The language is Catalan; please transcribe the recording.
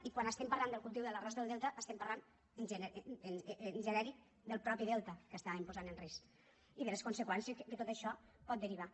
i quan estem parlant del cultiu de l’arròs del delta estem parlant en genèric del mateix delta que l’estàvem posant en risc i de les conseqüències en què de tot això pot derivar